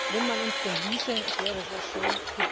wenn man uns denn ließe, es wäre sehr schön.